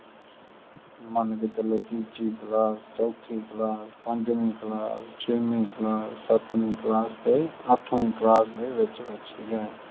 ਮਨ ਕੇ ਚਲੋ ਤੀਜੀ ਕਲਾਸ ਚੋਥੀ ਕਲਾਸ ਪੰਜਵੀ ਕਲਾਸ ਸ਼ੈਮੀ ਕਲਾਸ ਸਤਮੀ ਕਲਾਸ ਅਥਮੀ ਕਲਾਸ ਦੇ ਵਿਚ ਵਿਚ ਹੋਇਆ